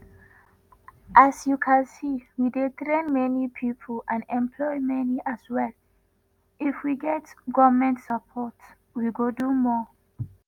“as you can see we dey train many pipo and employ many as well if we fit get goment support we go do more.”